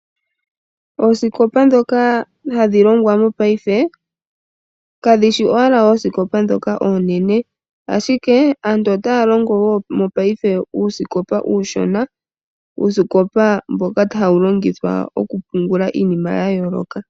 Oosikopa ndhoka hadhi longwa mopaife, kadhi shi owala oosikopa ndhoka oonene, ashike aantu otaa longo wo mopaife uusikopa uushona, uusikopa mboka hawu longithwa okupungulwa iinima ya yooloka..